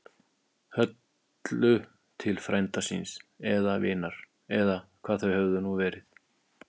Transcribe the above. Höllu til frænda síns. eða vinar. eða hvað þau höfðu nú verið.